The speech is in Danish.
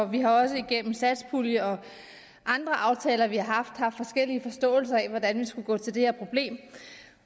vi har også igennem satspuljeaftaler og andre aftaler vi har haft forskellige forståelser af hvordan vi skulle gå til det her problem